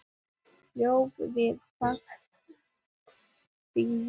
Ólaf við Faxafen.